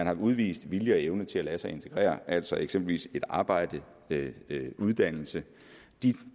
har udvist vilje og evne til at lade sig integrere altså eksempelvis med et arbejde en uddannelse de